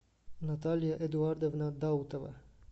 наталья эдуардовна даутова